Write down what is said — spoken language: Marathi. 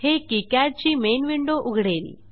हे किकाड ची मेन विंडो उघडेल